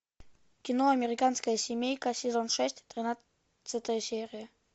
кино американская семейка сезон шесть тринадцатая серия